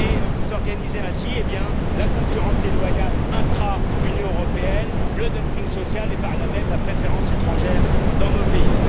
Vous organisez ainsi la concurrence déloyale intra Union européenne, le dumping social et, par là même, la préférence étrangère dans nos pays.